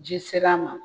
Ji sera a ma